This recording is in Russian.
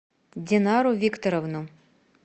динару викторовну